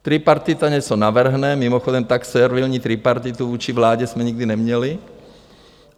Tripartita něco navrhne - mimochodem, tak servilní tripartitu vůči vládě jsme nikdy neměli.